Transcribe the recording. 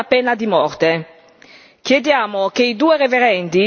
E, in caso di verdetto, saranno condannati alla pena di morte.